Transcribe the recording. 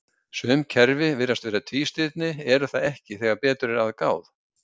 Sum kerfi sem virðast vera tvístirni eru það ekki þegar betur er að gáð.